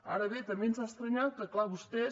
ara bé també ens ha estranyat que clar vostès